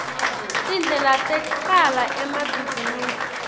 tindlela tecala emabhizinisi